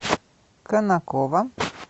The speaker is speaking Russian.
конаково